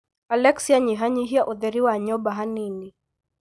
Alexia nyihahnyihia ũtheri wa nyũmba ha nini